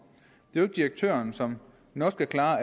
det er direktøren som nok skal klare